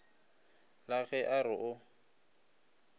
la ge a re o